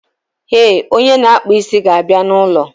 Eh, onye na akpa isi ga abịa na ụlọ